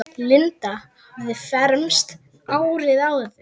Linda hafði fermst árið áður.